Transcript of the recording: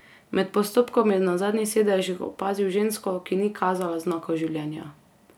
Med postopkom je na zadnjih sedežih opazil žensko, ki ni kazala znakov življenja.